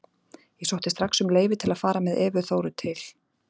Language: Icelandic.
Ég sótti strax um leyfi til að fara með Evu Þóru til